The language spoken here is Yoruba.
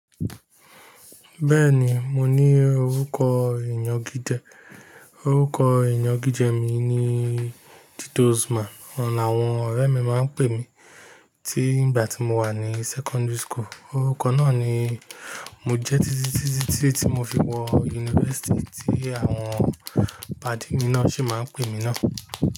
Bẹ́ẹ̀ni, mo ní orúkọ ìnagije, orúkọ ìnagije mi ni Tituzma, òun làwọn ọ̀rẹ́ mi máa ń pè mí tí ìgbà tí mo wà ní secondary school. Orúkọ náà ni mo jẹ́ títí tí tí tí mo fi wọ yunifásítì tí àwọn pàdi mi náà sì máa ń pè mí náà.